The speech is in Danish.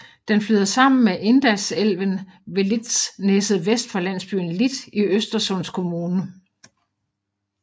Den flyder sammen med Indalsälven ved Litsnäset vest for landsbyen Lit i Östersunds kommun